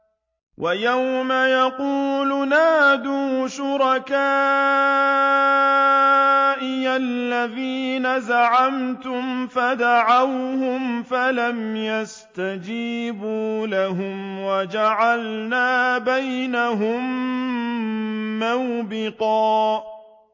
وَيَوْمَ يَقُولُ نَادُوا شُرَكَائِيَ الَّذِينَ زَعَمْتُمْ فَدَعَوْهُمْ فَلَمْ يَسْتَجِيبُوا لَهُمْ وَجَعَلْنَا بَيْنَهُم مَّوْبِقًا